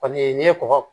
Kɔni n'i ye kɔgɔ